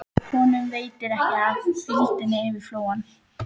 Honum veitir ekki af hvíldinni yfir flóann.